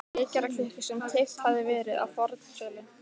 vekjaraklukku sem keypt hafði verið á fornsölu.